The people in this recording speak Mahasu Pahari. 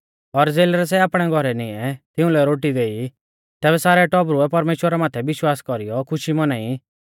और ज़ेलरै सै आपणै घौरै निऐं तिउंलै रोटी देई तैबै सारै टौबरुऐ परमेश्‍वरा माथै विश्वास कौरीयौ खुशी मौनाई